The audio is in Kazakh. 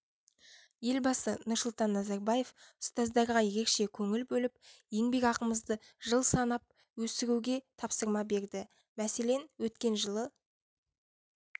елбасы нұрсұлтан назарбаев ұстаздарға ерекше көңіл бөліп еңбекақымызды жыл санап өсіруге тапсырма берді мәселен өткен жылы